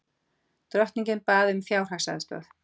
Drottningin bað um fjárhagsaðstoð